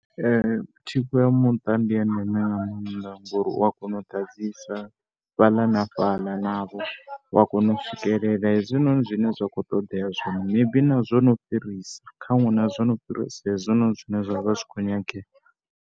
Thikho ya muṱa ndi ya ndeme nga maanḓa ngori u ya kona u ḓadzisa fhaḽa na fhaḽa navho, u a kona swikelela hezwinoni zwine zwa khou ṱoḓea zwino maybe na zwo no fhirisa khaṅwe na zwo no fhirisa hezwinoni zwine zwa vha zwi tshi khou nyangea.